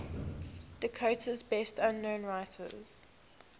dakota's best known writers